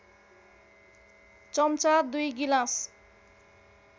चम्चा २ गिलास